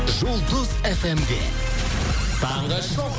жұлдыз фмде таңғы шоу